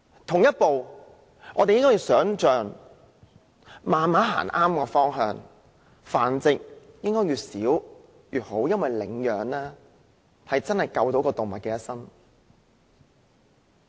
同時，我們應慢慢步向正確方向，繁殖應該越少越好，領養真的能夠救動物一生。